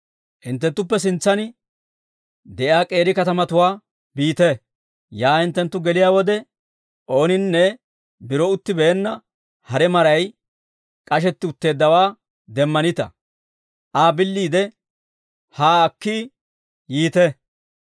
«Hinttenttuppe sintsan de'iyaa k'eeri katamatuwaa biite; yaa hinttenttu geliyaa wode, ooninne biro uttibeenna hare maray k'ashetti utteeddawaa demmanita; Aa billiide haa akki yiite.